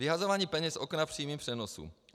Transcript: Vyhazování peněz z okna v přímém přenosu.